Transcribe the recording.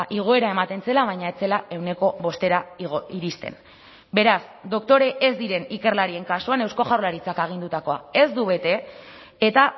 igoera ematen zela baina ez zela ehuneko bostera iristen beraz doktore ez diren ikerlarien kasuan eusko jaurlaritzak agindutakoa ez du bete eta